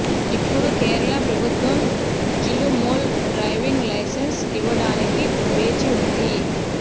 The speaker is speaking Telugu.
ఇప్పుడు కేరళ ప్రభుత్వం జిలుమోల్ డ్రైవింగ్ లైసెన్స్ ఇవ్వడానికి వేచి ఉంది